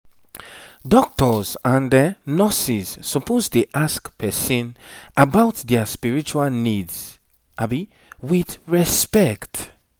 doctors and nurses suppose dey ask person about their spiritual needs with respect